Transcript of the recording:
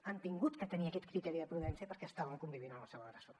han hagut de tenir aquest criteri de prudència perquè estaven convivint amb el seu agressor